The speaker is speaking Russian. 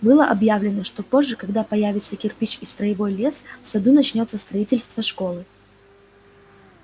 было объявлено что позже когда появятся кирпич и строевой лес в саду начнётся строительство школы